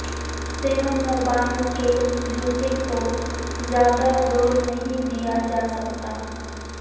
snowmobile کے جوتے کو زیادہ زور نہیں دیا جا سکتا